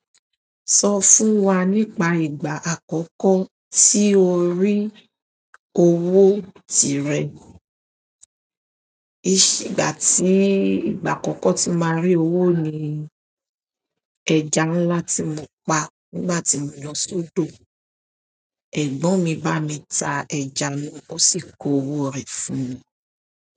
Sọ fún wa nípa ìgbà àkọ́kọ́ tí o rí owó tirẹ̀. Ìgbà tí ìgbà àkọ́kọ́ tí n maa rí owó ni ẹja ńlá tí mo pa nígbà tí mo lọ sódò. Ẹ̀gbọ́n mi bá mi ta ẹja náà ó sì ko owó rẹ̀ fún mi.